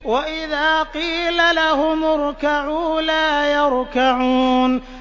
وَإِذَا قِيلَ لَهُمُ ارْكَعُوا لَا يَرْكَعُونَ